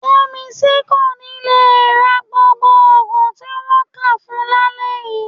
Yẹ́misí kò ní le ra gbogbo òògùn tí wọ́n kà fún un lálẹ́ yii